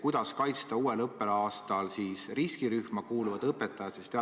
Kuidas kaitsta uuel õppeaastal riskirühma kuuluvaid õpetajaid?